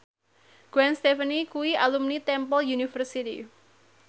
Gwen Stefani kuwi alumni Temple University